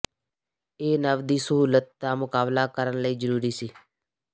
ਇਹ ਨਵ ਦੀ ਸਹੂਲਤ ਦਾ ਮੁਕਾਬਲਾ ਕਰਨ ਲਈ ਜ਼ਰੂਰੀ ਸੀ